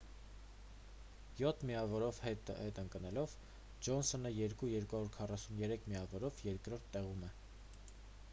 յոթ միավորով հետ ընկնելով ջոնսոնը 2 243 միավորով երկրորդ տեղում է